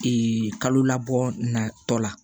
kalo labɔ natɔ la